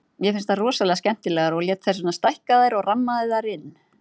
Mér finnst þær rosalega skemmtilegar og lét þess vegna stækka þær og rammaði þær inn.